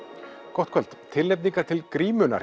gott kvöld tilnefningar til grímunnar